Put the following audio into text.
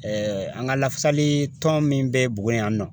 an ka lafasalitɔn min bɛ Buguni yan nɔ